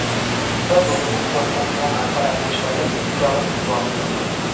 Biz o‘zimiz qo‘limiz bilan apparatni ishlatib, kislorod yuborib turdik.